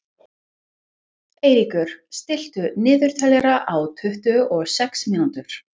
Eiríkur, stilltu niðurteljara á tuttugu og sex mínútur.